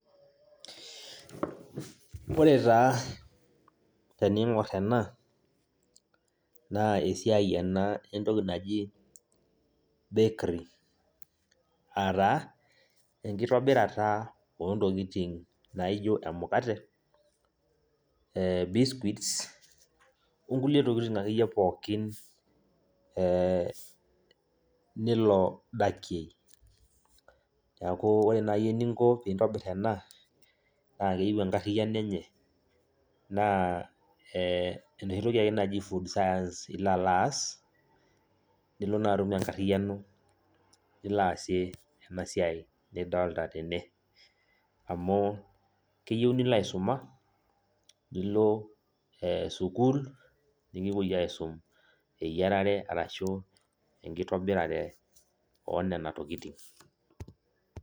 Ore taa teniing'or ena, naa esiai ena entoki naji bakery. Ataa, enkitobirata ontokiting naijo emukate, biscuits, onkulie tokiting akeyie pookin ilo dakie. Neeku ore nai eninko pintobir ena, naa keyieu enkarriyiano enye. Naa enoshi toki ake naji food science ilo alo aas, nilo naa atum enkarriyiano nilo aasie enasiai nidolta tene. Amuu, keyieu nilo aisuma, nilo sukuul, nikipoi aisum eyiarare arashu enkitobirare onena tokiting.